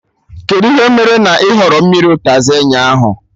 Kedụ ihe mere na ị họrọ mmiri ụtazị ụnyaahụ?